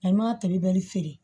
A m'a tobi bɛri feere